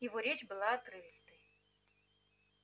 его речь была отрывистой